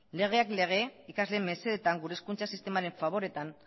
legeak lege ikasleen mesedetan gure hezkuntza sistemaren faboreetan